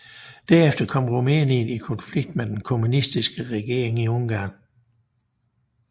Derefter kom Rumænien i konflikt med den kommunistiske regering i Ungarn